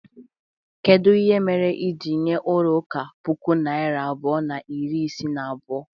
Kedu mere i jiri nye ulo uka puku naira abụọ na iri isii na abụọ?